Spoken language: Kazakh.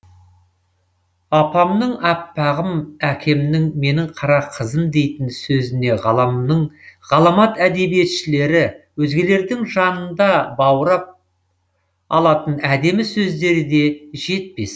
анамның аппағым әкемнің менің қара қызым дейтін сөзіне ғаламның ғаламат әдебиетшілері өзгелердің жаныңда баурап алатын әдемі сөздері де жетпес